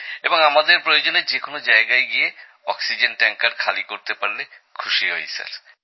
এবং আমরা প্রয়োজনে যে কোনো জায়গায় গিয়ে অক্সিজেন ট্যাঙ্কার খালি করতে পারলে খুশি হই স্যার